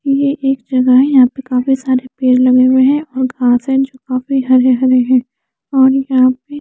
ये एक जगह है यहां पे काफी सारे पेड़ लगे हुए हैं और घास है जो काफी हरे हरे हैं और यहां पे--